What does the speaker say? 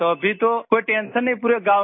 अभी तो कोई टेंशन नहीं है पूरे गाँव में